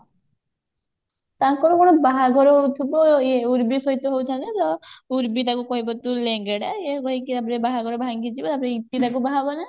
ତାଙ୍କର କଣ ବାହାଘର ହଉଥିବ ଇଏ ଉର୍ବୀ ସହିତ ହେଇଥାନ୍ତା ଯେ ଉର୍ବୀ ତାକୁ କହିବ ତୁ ଲେଙ୍ଗେଡା ଏଇଆ କହିକି ୟାପରେ ବାହାଘର ଭାଙ୍ଗିଯିବ ତାପରେ ଇତି ତାକୁ ବାହା ହବ ନା?